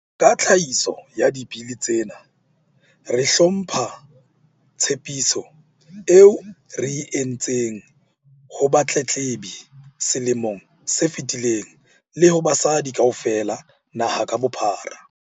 Ka tlhahiso ya Dibili tsena, re hlompha tshepiso eo re e entseng ho batletlebi selemong se fetileng le ho basadi kaofela naha ka bophara.